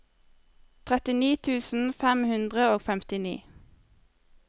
trettini tusen fem hundre og femtini